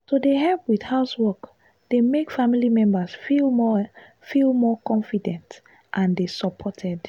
to dey help with housework dey make family members feel more feel more confident and dey supported.